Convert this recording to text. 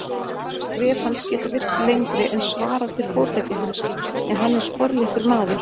Skref hans geta virst lengri en svarar til fótleggja hans, en hann er sporléttur maður.